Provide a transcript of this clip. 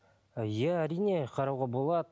иә әрине қарауға болады